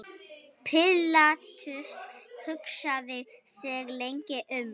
Pílatus hugsaði sig lengi um.